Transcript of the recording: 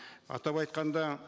атап айтқанда